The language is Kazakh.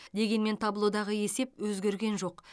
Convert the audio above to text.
дегенмен таблодағы есеп өзгерген жоқ